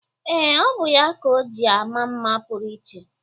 Ee, ọ bụ ya ka o ji ama mma pụrụ iche.